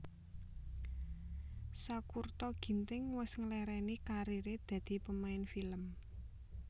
Sakurta Ginting wes ngelereni karir e dadi pemain film